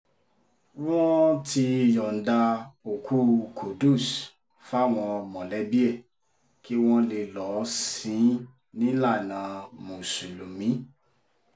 wọ́n ti yọ̀ǹda òkú qudus fáwọn mọ̀lẹ́bí ẹ̀ kí wọ́n lè lọ́ọ́ sìn-ín nílànà mùsùlùmí